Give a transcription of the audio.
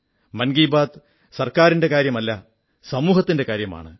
മൻ കീബാത് സർക്കാരിന്റെ കാര്യമല്ല സമൂഹത്തിന്റെ കാര്യമാണ്